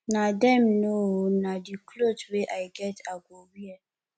na dem know oo na the cloth wey i get i go wear